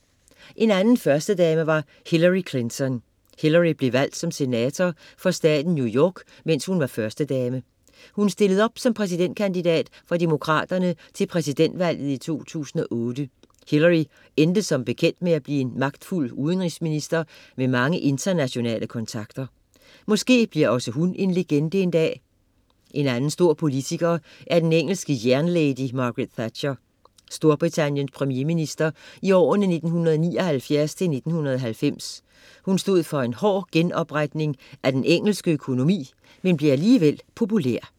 En anden førstedame var Hillary Clinton. Hillary blev valgt som senator for staten New York, mens hun var førstedame. Hun stillede op som præsidentkandidat for Demokraterne til præsidentvalget i 2008. Hillary endte som bekendt med at blive en magtfuld udenrigsminister med mange internationale kontakter. Måske bliver også hun en legende en dag. En anden stor politiker er den engelske jernlady Margaret Thatcher, Storbritanniens premiereminister i årene 1979-1990. Hun stod for en hård genopretning af den engelske økonomi, men blev alligevel populær.